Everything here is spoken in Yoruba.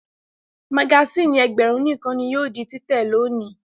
Magasínì ẹgbẹ̀rún nìkan ni yóò di títẹ̀ lónìí.